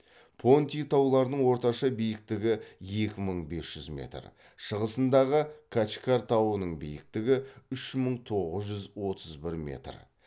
понти тауларының орташа биіктігі екі мың бес жүз метр шығысындағы качкар тауының биіктігі үш мың тоғыз жүз отыз бір метр